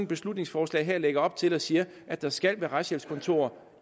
beslutningsforslag her lægger op til at sige at der skal være retshjælpskontorer